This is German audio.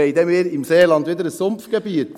Aber dann wird das Seeland wieder Sumpfgebiet.